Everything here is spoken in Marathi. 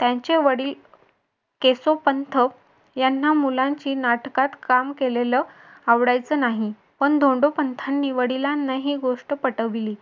त्यांचे वडील केशव पंत यांना मुलांची नाटकात काम केलेलं आवडायचं नाही पण धोंडोपंतांनी वडिलांना ही गोष्ट पटवली.